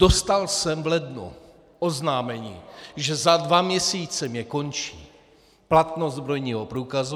Dostal jsem v lednu oznámení, že za dva měsíce mně končí platnost zbrojního průkazu.